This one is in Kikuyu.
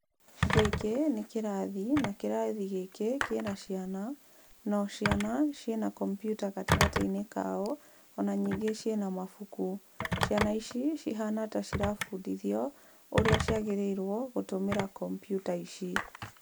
Gĩkĩ nĩ kĩrathi, na kĩrathi gĩkĩ kĩna ciana na o ciana ciĩna kombiuta gatagatĩ-inĩ kao, ona ningĩ ciĩna mabuku. Ciana ici cihana ta ciabundithio ũrĩa ciagĩrĩirwo gũtũmĩra kombiuta ici.